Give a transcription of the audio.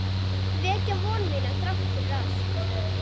Vekja von mína þrátt fyrir allt.